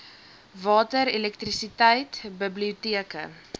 water elektrisiteit biblioteke